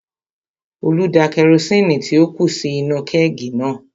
Olú da kerosini tí ó kù sí inú-u kẹ́ẹ̀gì náà